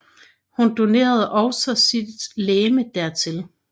Hun donerede også sin legeme dertil